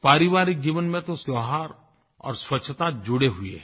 पारिवारिक जीवन में तो त्योहार और स्वच्छता जुड़े हुए हैं